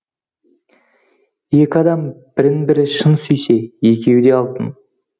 екі адам бірін бірі шын сүйсе екеуі де алтын